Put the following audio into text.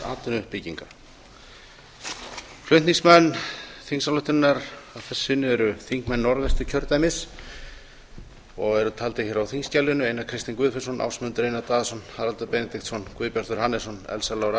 atvinnuuppbyggingar efla þingsályktunarinnar að þessu sinni eru þingmenn norðvestur kjördæmis og eru taldir hér á þingskjalinu einar k guðfinnsson ásmundur einar daðason haraldur benediktsson guðbjartur hannesson elsa lára